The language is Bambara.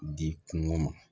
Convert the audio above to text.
Di kungo ma